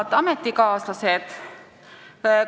Head ametikaaslased!